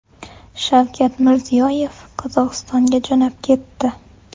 Shavkat Mirziyoyev Qozog‘istonga jo‘nab ketdi.